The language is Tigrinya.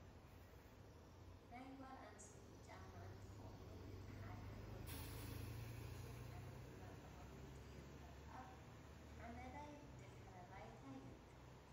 ናይ ጋል ኣንስተይቲ ጫማ እንትከውን እቲ ሓደ ወዲቁ ይርከብ እቲ ሓደ ድማ ተቀሚጡ ይርከብ ። ኣብ ሓመዳይ ድሕረ ባይታ ይርከብ ።